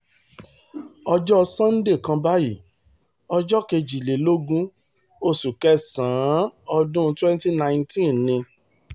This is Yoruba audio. ọjọ́ sannde kan báyìí ọjọ́ kejìlélógún oṣù kẹsàn-án ọdún 2019 ni